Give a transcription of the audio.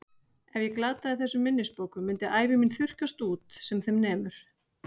Ef ég glataði þessum minnisbókum myndi ævi mín þurrkast út sem þeim nemur.